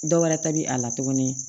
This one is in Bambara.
Dɔwɛrɛ ta bi a la tuguni